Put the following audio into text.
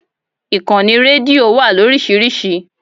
Ìkànnì rédíò wà lórísìíríìsí.